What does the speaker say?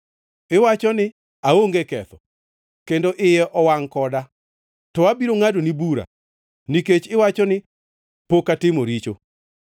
iwacho ni, “ ‘Aonge ketho, kendo iye ok owangʼ koda.’ To abiro ngʼadoni bura nikech iwacho ni, ‘Pod ok atimo richo.’